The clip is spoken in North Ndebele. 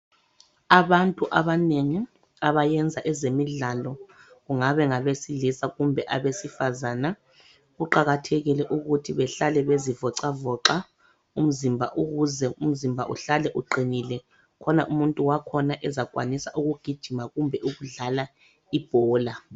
Abantu abanengi abayenza ezemidlalo kungabe ngabesilisa kumbe abesifazana kuqakathekile ukuthi behlale bezivoxavoxa umzimba ukuze umzimba uhlale uqinile khona umuntu wakhona ezakwanise ukugijima kumbe ukudlala ibhola.